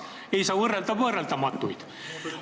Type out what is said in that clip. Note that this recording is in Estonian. Ei saa võrrelda võrreldamatuid.